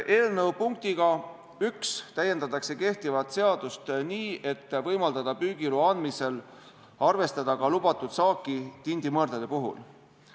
Eelnõu punktiga 1 täiendatakse kehtivat seadust nii, et võimaldada püügiloa andmisel arvestada ka lubatud saaki tindimõrdade puhul.